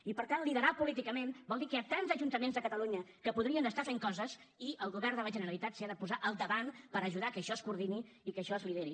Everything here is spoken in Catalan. i per tant liderar políticament vol dir que hi ha tants ajuntaments a catalunya que podrien estar fent coses i el govern de la generalitat s’hi ha de posar al davant per ajudar que això es coordini i que això es lideri